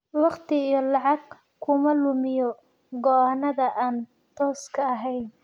Waqti iyo lacag kuma lumiyo go'aannada aan tooska ahayn.